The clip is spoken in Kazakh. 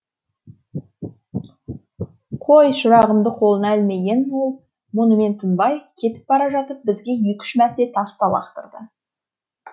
қой шырағымды құлағына ілмеген ол мұнымен тынбай кетіп бара жатып бізге екі үш мәрте тас та лақтырды